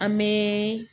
An bɛ